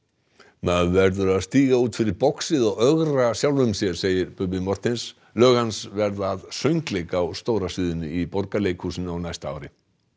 maður verður að stíga út fyrir boxið og ögra sjálfum sér segir Bubbi Morthens lög hans verða að söngleik á stóra sviðinu í Borgarleikhúsinu á næsta ári